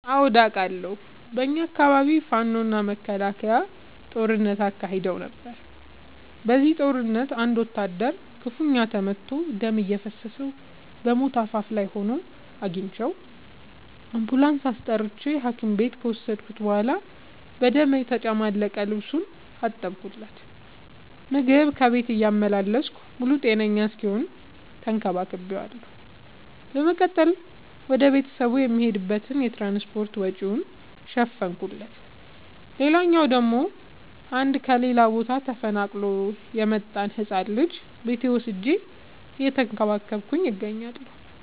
አዎድ አቃለሁ። በኛ አካባቢ ፋኖ እና መከላከያ ጦርነት አካሂደው ነበር። በዚህ ጦርነት አንድ ወታደር ክፋኛ ተመቶ ደም እየፈሰሰው በሞት አፋፍ ላይ ሆኖ አግኝቼው። አንቡላንስ አስጠርቼ ሀኪም ቤት ከወሰድከት በኋላ በደም የተጨማለቀ ልብሱን አጠብለት። ምግብ ከቤት እያመላለስኩ ሙሉ ጤነኛ እስኪሆን ተከባክ ቤዋለሁ። በመቀጠልም ወደ ቤተሰቡ የሚሄድበትን የትራንስፓርት ወጪውን ሸፈንኩለት። ሌላላው ደግሞ አንድ ከሌላ ቦታ ተፈናቅሎ የመጣን ህፃን ልጅ ቤቴ ወስጄ እየተንከባከብኩ እገኛለሁ።